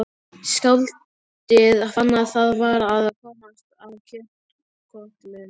Skáldið fann að það var að komast að kjötkötlunum.